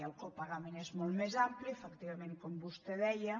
el copagament és molt més ampli efectivament com vostè deia